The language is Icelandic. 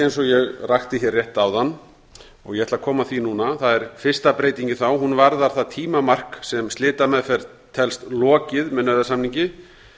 ég rakti hér rétt áðan ég ætla að koma að því núna það er fyrsta breytingin hún varðar það tímamark sem slitameðferð telst lokið með nauðasamningi